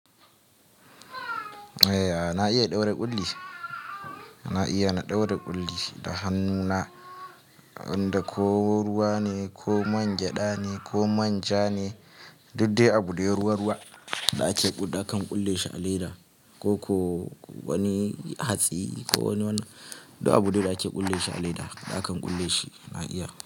Na iya ɗaura ƙulli, na iya na ɗaura ƙulli da hannuna inda ko ruwa ne, ko man gyada ne, ko manja ne, duk dai abu dai ruwa-ruwa da ake buda na kan ƙulle shi a leda ko wani hatsi ko wani duk abu dai da ake ƙulle shi a leda da akan ƙulle shi na iya.